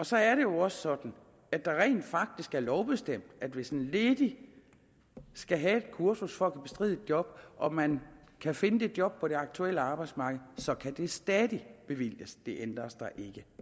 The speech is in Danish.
så er det jo også sådan at det rent faktisk er lovbestemt at hvis en ledig skal have et kursus for at kunne bestride et job og man kan finde det job på det aktuelle arbejdsmarked så kan det stadig bevilges det ændres der ikke